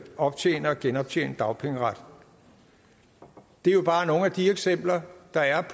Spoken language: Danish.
optjene og genoptjene dagpengeret det er jo bare nogle af de eksempler der er